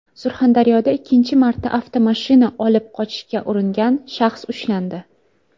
Surxondaryoda ikkinchi marta avtomashina olib qochishga uringan shaxs ushlandi.